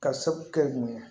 Ka sababu kɛ mun ye